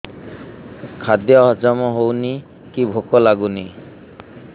ଖାଦ୍ୟ ହଜମ ହଉନି କି ଭୋକ ଲାଗୁନି